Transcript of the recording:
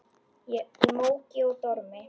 Í móki og dormi.